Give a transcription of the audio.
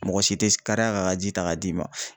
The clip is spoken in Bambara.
Mɔgɔ si te s kariya k'a ka ji ta k'a d'i ma.